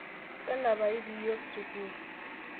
tanapayu pee iyiok sukul